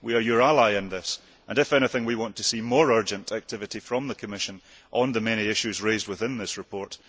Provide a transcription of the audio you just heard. We are your ally in this and, if anything, we want to see more urgent activity from the Commission on the many issues raised in this report.